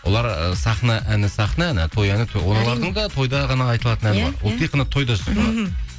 олар ы сахна әні сахна әні той әні тойда ғана айтылатын әні бар ол тек қана